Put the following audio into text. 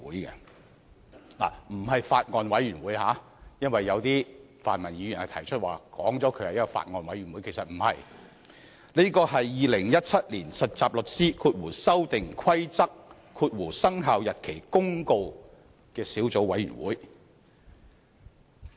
請注意，並非法案委員會，剛才有些泛民議員表示立法會成立了法案委員會，其實不然，是《〈2017年實習律師規則〉公告》小組委員會。